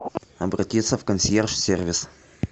обратиться в консьерж сервис